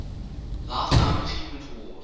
lifetime achievement award